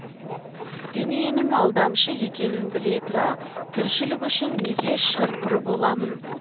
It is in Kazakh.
дүниенің алдамшы екенін біле тұра тіршілік үшін неге шыр пыр боламын